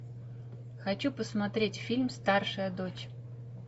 хочу посмотреть фильм старшая дочь